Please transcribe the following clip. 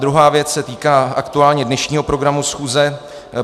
Druhá věc se týká aktuálně dnešního programu schůze.